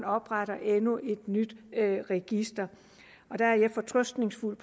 opretter endnu et nyt register der er jeg fortrøstningsfuld